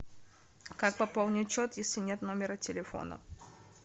как пополнить счет если нет номера телефона